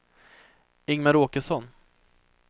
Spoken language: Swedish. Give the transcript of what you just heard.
Ingmar Åkesson